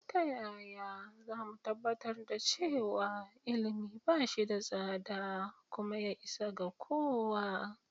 Ta yaya za mu tabbatar da cewa ilimi ba shi da tsada kuma ya isa ga kowa?